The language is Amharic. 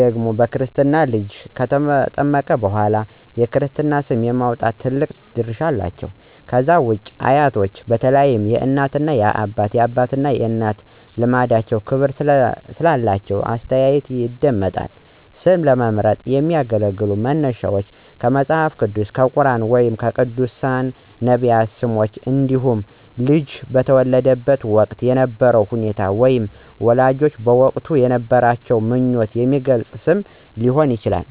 ደግሞ በክርስትና ልጁ ከተጠመቀ በኋላ የክርስትና ስም የማውጣት ትልቅ ድርሻ አላቸው። ከዛ ውጪ አያቶች በተለይም የእናት አባትና የአባት እናት ልምዳቸውና ክብር ስላላቸው አስተያየታቸው ይደመጣል። ስም ለመምረጥ የሚያገለግሉ መነሻዎች ከመጽሐፍ ቅዱስ፣ ከቁርኣን ወይም ከቅዱሳን/ነቢያት ስሞች እንዲሁም ልጁ በተወለደበት ወቅት የነበረውን ሁኔታ ወይም ወላጆች በወቅቱ የነበራቸውን ምኞት የሚገልጽ ስም ሊሆን ይችላል።